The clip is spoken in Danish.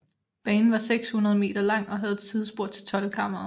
Banen var 600 m lang og havde et sidespor til Toldkammeret